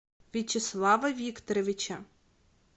вячеслава викторовича